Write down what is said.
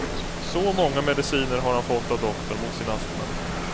Så många mediciner har han fått av doktorn mot sin astma.